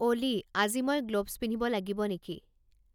অ'লি আজি মই গ্ল'ভ্ছ পিন্ধিব লাগিব নেকি